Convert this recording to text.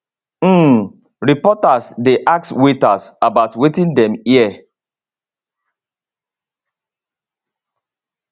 um reporters dey ask waiters about wetin dem hear